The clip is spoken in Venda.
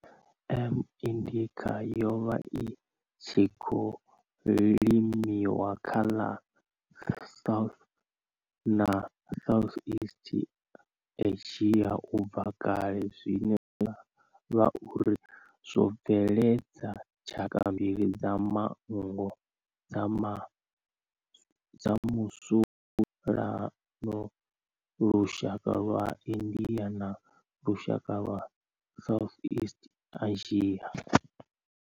M. indica yo vha i tshi khou limiwa kha ḽa South na Southeast Asia ubva kale zwine zwa vha uri zwo bveledza tshaka mbili dza manngo dza musalauno lushaka lwa India na lushaka lwa Southeast Asia.